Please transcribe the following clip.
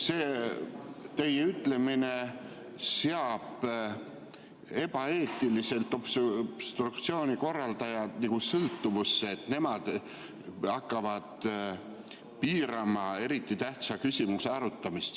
See teie ütlemine seab ebaeetiliselt obstruktsiooni korraldajad nagu sõltuvusse, et nemad hakkavad piirama eriti tähtsa küsimuse arutamist.